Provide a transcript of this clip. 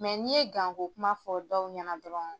n'i ye kuma fɔ dɔw ɲɛna dɔrɔn.